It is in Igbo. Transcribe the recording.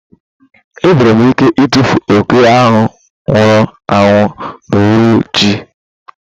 Ị nwere ike ịtụfu oke ahụ nwụrụ anwụ n'uhuruchi a?